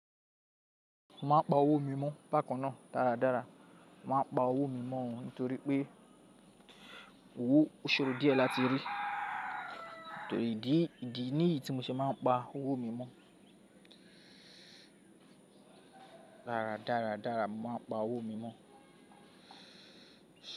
Mo máa ń pa owó mi mọ́ bákan náà dáradára. Mo máa ń pa owó mi mọ́ ọn nítorí pé owó ó ṣoro díẹ̀ láti rí. Nítorí ìdí, ìdí ní yìí tí mo ṣe máa ń pa owó mi mọ́. Dáradára, dáradára mo máa ń pa owó mi mọ́.